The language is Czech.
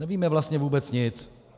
Nevíme vlastně vůbec nic.